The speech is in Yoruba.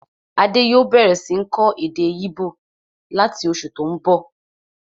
Adé yòó bẹ̀rẹ̀ sí ń kọ́ èdè íbò láti oṣù tó n bọ̀